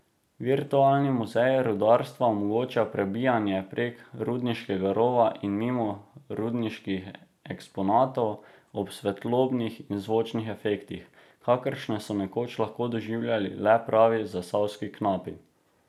Virtualni muzej rudarstva omogoča prebijanje prek rudniškega rova in mimo rudniških eksponatov, ob svetlobnih in zvočnih efektih, kakršne so nekoč lahko doživljali le pravi zasavski knapi.